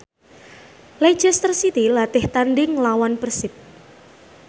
Leicester City latih tandhing nglawan Persib